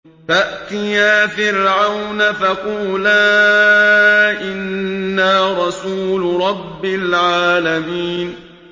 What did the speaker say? فَأْتِيَا فِرْعَوْنَ فَقُولَا إِنَّا رَسُولُ رَبِّ الْعَالَمِينَ